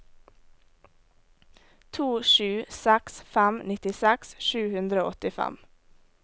to sju seks fem nittiseks sju hundre og åttifem